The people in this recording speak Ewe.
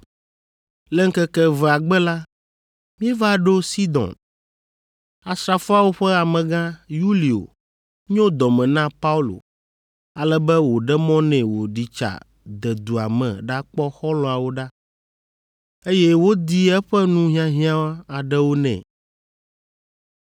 Le ŋkeke evea gbe la, míeva ɖo Sidon. Asrafoawo ƒe amegã, Yulio nyo dɔ me na Paulo, ale be wòɖe mɔ nɛ wòɖi tsa de dua me ɖakpɔ xɔlɔ̃awo ɖa, eye wodi eƒe nu hiahiã aɖewo nɛ.